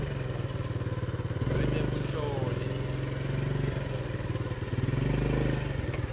lwetebunhloli